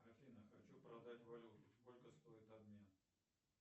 афина хочу продать валюту сколько стоит обмен